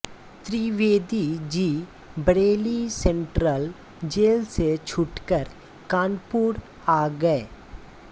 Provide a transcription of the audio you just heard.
Trivedi ji Bareilly central jail से छूटकर कानपुर आ गये